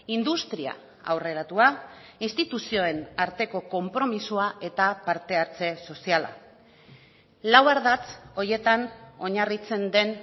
industria aurreratua instituzioen arteko konpromisoa eta parte hartze soziala lau ardatz horietan oinarritzen den